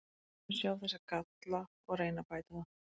Sumir sjá þessa galla og reyna að bæta þá.